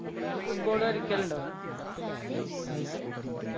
ഇങ്ങള് football കലിക്കലിണ്ടോ